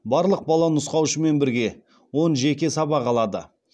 барлық бала нұсқаушымен бірге он жеке сабақ алады